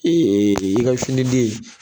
Ee e e ka fini den